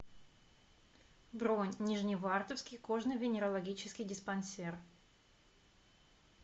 бронь нижневартовский кожно венерологический диспансер